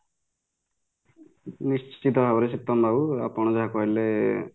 ନିଶ୍ଚିତ ଭାବରେ ସୀତନ ବାବୁ ଆପଣ ଯାହା କହିଲେ